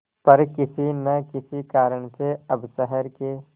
पर किसी न किसी कारण से अब शहर के